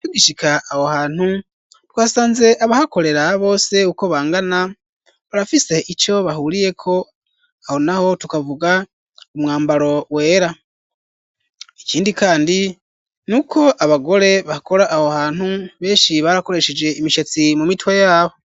Tugishika aho hantu twasanze abahakorera bose uko bangana barafise ico bahuriyeko ,aho naho tukavuga umwambaro wera ,ikindi kandi ni uko abagore bakora aho hantu benshi barakoresheje imishatsi mu mitwe yabo.